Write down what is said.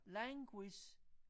languish